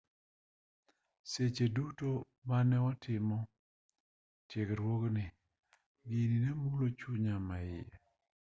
seche duto mane watimo tiegruogni gini ne mulo chunya maiye